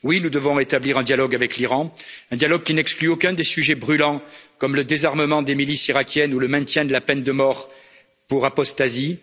Oui, nous devons établir un dialogue avec l'Iran, un dialogue qui n'exclut aucun des sujets brûlants comme le désarmement des milices irakiennes ou le maintien de la peine de mort pour apostasie.